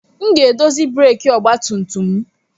M ga-edozi breeki ọgba tum tum m.